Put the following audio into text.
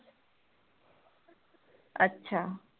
ਅੱਛਾ